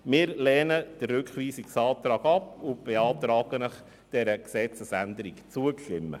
Wir lehnen den Rückweisungsantrag ab und beantragen, dieser Gesetzesänderung zuzustimmen.